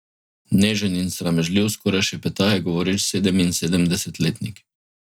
Nežen in sramežljiv, skoraj šepetaje govoreč sedeminsedemdesetletnik.